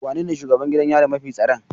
Wanene shugaban gidan yari mafi tsaron?